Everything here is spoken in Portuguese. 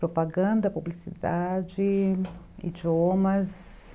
Propaganda, publicidade, idiomas...